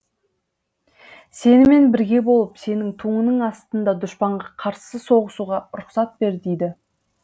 сенімен бірге болып сенің туыңның астында дұшпанға қарсы соғысуға рұқсат бер дейді